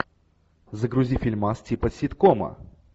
загрузи фильмас типа ситкома